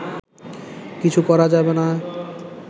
কিছু করা যাবে না